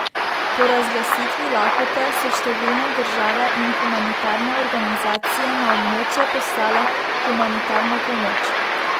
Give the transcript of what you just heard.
Po razglasitvi lakote so številne države in humanitarne organizacije na območje poslale humanitarno pomoč.